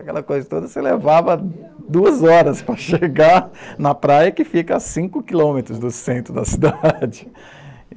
Aquela coisa toda se levava duas horas para chegar na praia, que fica a cinco quilômetros do centro da cidade.